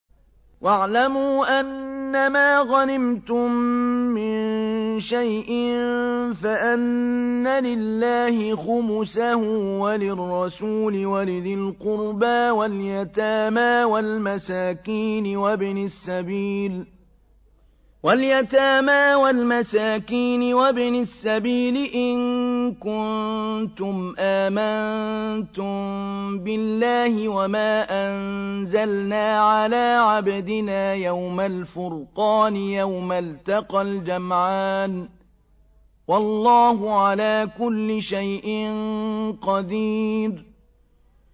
۞ وَاعْلَمُوا أَنَّمَا غَنِمْتُم مِّن شَيْءٍ فَأَنَّ لِلَّهِ خُمُسَهُ وَلِلرَّسُولِ وَلِذِي الْقُرْبَىٰ وَالْيَتَامَىٰ وَالْمَسَاكِينِ وَابْنِ السَّبِيلِ إِن كُنتُمْ آمَنتُم بِاللَّهِ وَمَا أَنزَلْنَا عَلَىٰ عَبْدِنَا يَوْمَ الْفُرْقَانِ يَوْمَ الْتَقَى الْجَمْعَانِ ۗ وَاللَّهُ عَلَىٰ كُلِّ شَيْءٍ قَدِيرٌ